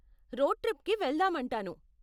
Road ట్రిప్కి వెళ్దాం అంటాను.